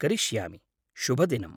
करिष्यामि। शुभदिनम्।